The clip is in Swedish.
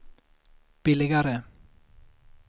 billigare